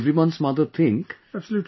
and what does everyone's mother think